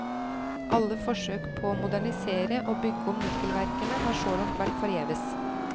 Alle forsøk på å modernisere og bygge om nikkelverkene har så langt vært forgjeves.